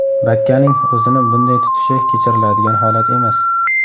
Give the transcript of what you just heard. Bakkaning o‘zini bunday tutishi kechiriladigan holat emas.